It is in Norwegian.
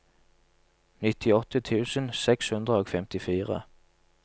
nittiåtte tusen seks hundre og femtifire